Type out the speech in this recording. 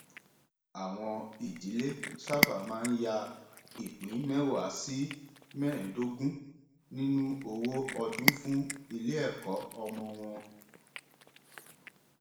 àwọn ìdílé sábà máa ń ya ìpín mẹwàá sí mẹẹdógún nínú owó ọdún fún iléẹkọ ọmọ wọn